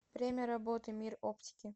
время работы мир оптики